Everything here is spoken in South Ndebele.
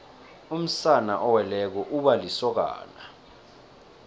umsana oweleko uba lisokana